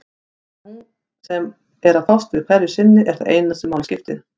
Það sem hún er að fást við hverju sinni er það eina sem máli skiptir.